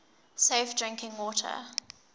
safe drinking water